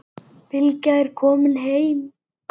Bylgja er komin heim.